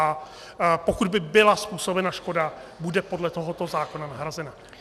A pokud by byla způsobena škoda, bude podle tohoto zákona nahrazena.